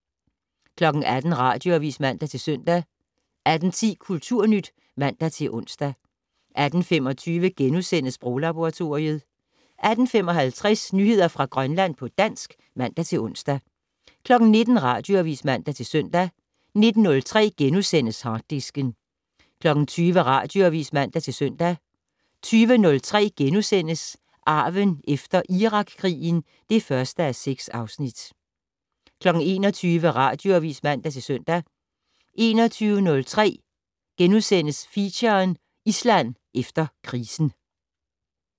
18:00: Radioavis (man-søn) 18:10: Kulturnyt (man-ons) 18:25: Sproglaboratoriet * 18:55: Nyheder fra Grønland på dansk (man-ons) 19:00: Radioavis (man-søn) 19:03: Harddisken * 20:00: Radioavis (man-søn) 20:03: Arven efter Irakkrigen (1:6)* 21:00: Radioavis (man-søn) 21:03: Feature: Island efter krisen *